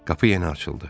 Qapı yenə açıldı.